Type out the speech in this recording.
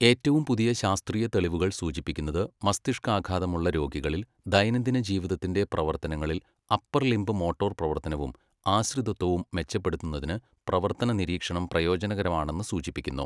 ഏറ്റവും പുതിയ ശാസ്ത്രീയ തെളിവുകൾ സൂചിപ്പിക്കുന്നത്, മസ്തിഷ്കാഘാതമുള്ള രോഗികളിൽ ദൈനംദിന ജീവിതത്തിന്റെ പ്രവർത്തനങ്ങളിൽ അപ്പർ ലിംബ് മോട്ടോർ പ്രവർത്തനവും ആശ്രിതത്വവും മെച്ചപ്പെടുത്തുന്നതിന് പ്രവർത്തന നിരീക്ഷണം പ്രയോജനകരമാണെന്ന് സൂചിപ്പിക്കുന്നു.